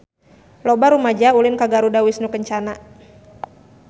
Loba rumaja ulin ka Garuda Wisnu Kencana